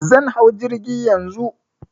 Zan hau jirgi Yanzu.